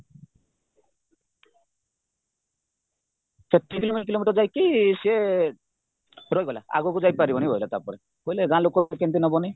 ତିନି କିଲୋମିଟର ଯାଇକି ସିଏ ରହିଗଲା ଆଗକୁ ଯାଇପାରିବନି କହିଲା ତାପରେ କହିଲେ ଗାଁଲୋକ କେମିତି ନବନି